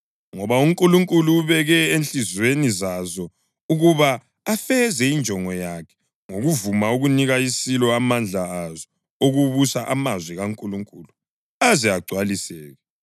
Ngoba uNkulunkulu ubeke ezinhliziyweni zazo ukuba afeze injongo yakhe ngokuvuma ukunika isilo amandla azo okubusa amazwi kaNkulunkulu aze agcwaliseke.